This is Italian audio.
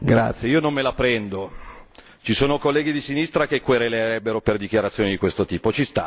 Signor Presidente, io non me la prendo. Ci sono colleghi di sinistra che querelerebbero per dichiarazioni di questo tipo.